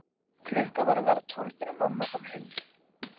Klukkan var að verða tólf þegar mamma kom heim.